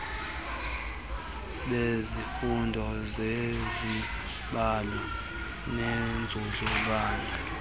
bezifundo zezibalo nenzululwazi